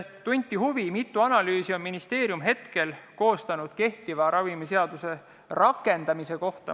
Tunti ka huvi, mitu analüüsi on ministeerium koostanud kehtiva ravimiseaduse rakendamise kohta.